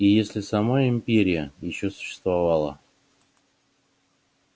и если сама империя ещё существовала